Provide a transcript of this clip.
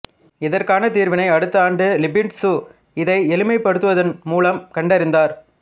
இதற்கான தீர்வினை அடுத்த ஆண்டு லிபினிட்சு இதை எளிமைப்படுத்துவதின் மூலம் கண்டறிந்தார்